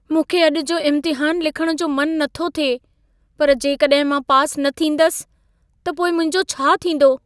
मूंखे अॼु जो इम्तिहान लिखण जो मन नथो थिए। पर जेकॾाहिं मां पास न थींदसि, त पोइ मुहिंजो छा थींदो?